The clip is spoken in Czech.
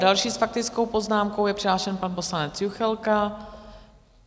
Další s faktickou poznámkou je přihlášen pan poslanec Juchelka.